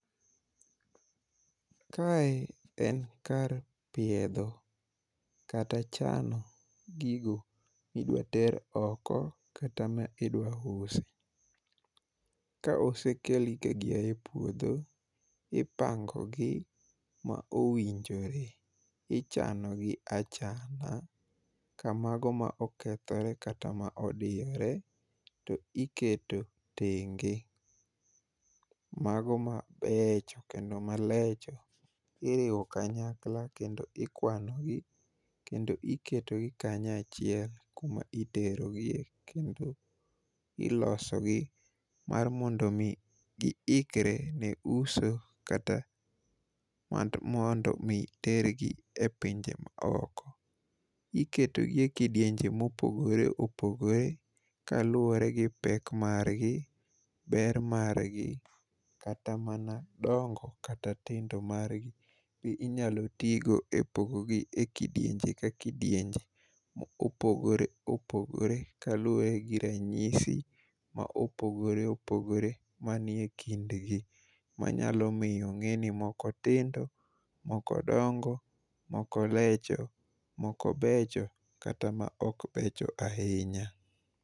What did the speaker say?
Kae en kar piedho kata chano gigo midwater oko kata midwa usi. Ka osekelgi ka gia e puodho, ipangogi ma owinjore, ichano gi achana ka mago ma okethore kata ma odiyore to iketo tenge. Mago mabecho kendo malecho iriwo kanyakla kendo ikwanogi kendo iketogi kanyo achiel kuma iterogie kendo ilosogi mar mondo omi giikre ne uso kata mar mondo mi tergi e pinje maoko. Iketogi e kidienje mopogore opogore kaluwore gi pek margi, ber margi kata mana dongo kata tindo margi be inyalo tigo e pogogi e kidienje ka kidienje ma opogore opogore kaluwre gi ranyisi ma opogore opogore manie kindgi manyalo miyo ong'e ni moko tindo, moko dongo, moko lecho, moko becho kata ma ok becho ahinya.